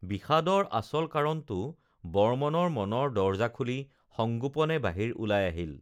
বিষাদৰ আচল কাৰণটো বৰ্মনৰ মনৰ দৰজা খুলি সংগোপনে বাহিৰ ওলাই আহিল